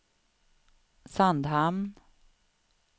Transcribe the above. Sandhamn